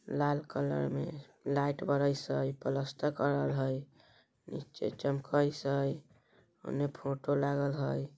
लाल colour में light बरई सै कलस्तर कलर है नीचे चमकाइस है ऊन्हे फोटो लागल है।